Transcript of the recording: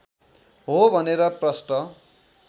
हो भनेर प्रष्ट